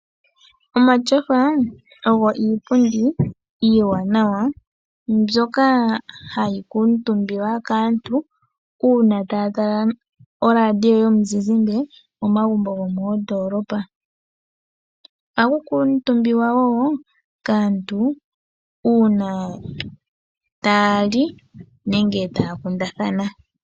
Omatyofa ogo iipundi iiwananawa, mbyoka hayi kuuntumbiwa kaantu, uuna taya tala oradio yomuzizimbe momagumbo gomoondoolopa. Ohaku kuuntumbiwa wo kaantu uuna taya li nenge taya kundathana.